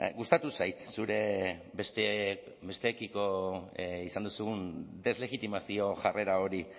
gustatu zait zure besteekiko izan duzun deslegitimazio jarrera hori